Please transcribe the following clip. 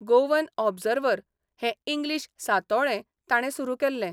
Goan Observer 'हें English सातोळे ताणे सुरू केल्लें.